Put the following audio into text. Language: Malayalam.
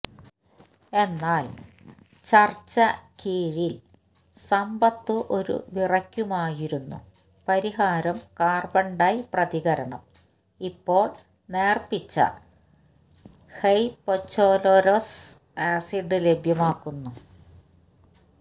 എന്നാൽ ചർച്ച കീഴിൽ സമ്പത്തു ഒരു വിറയ്ക്കുമായിരുന്നു പരിഹാരം കാർബൺ ഡൈ പ്രതികരണം ഇപ്പോൾ നേർപ്പിച്ച ഹ്യ്പൊഛ്ലൊരൊഉസ് ആസിഡ് ലഭ്യമാക്കുന്നു